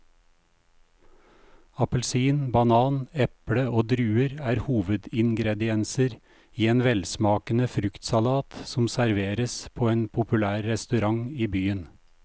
Appelsin, banan, eple og druer er hovedingredienser i en velsmakende fruktsalat som serveres på en populær restaurant i byen.